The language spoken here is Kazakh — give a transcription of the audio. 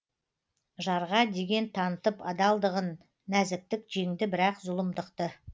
жарға деген танытып адалдығын нәзіктік жеңді бірақ зұлымдықты